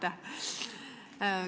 Aitäh!